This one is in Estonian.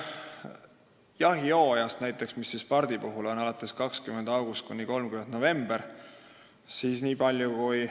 Jahihooaeg on näiteks pardi puhul 20. augustist kuni 30. novembrini.